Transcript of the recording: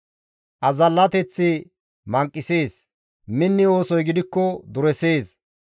Azallateththi manqisees; minni oosoy gidikko duresees.